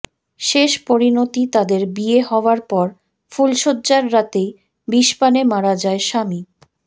শেষ পরিণতি তাদের বিয়ে হওয়ার পর ফুলশয্যার রাতেই বিষপানে মারা যায় স্বামী